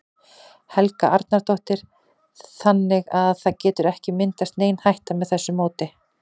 Helga Arnardóttir: Þannig að það getur ekki myndast nein hætta með þessu móti?